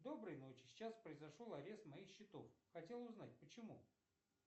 доброй ночи сейчас произошел арест моих счетов хотел узнать почему